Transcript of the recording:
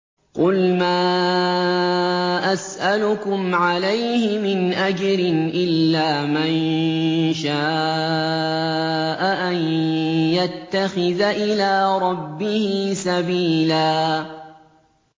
قُلْ مَا أَسْأَلُكُمْ عَلَيْهِ مِنْ أَجْرٍ إِلَّا مَن شَاءَ أَن يَتَّخِذَ إِلَىٰ رَبِّهِ سَبِيلًا